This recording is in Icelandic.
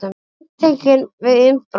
Handtekinn við innbrot